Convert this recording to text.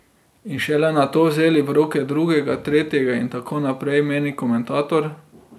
In šele nato vzeli v roke drugega, tretjega in tako naprej, meni komentator.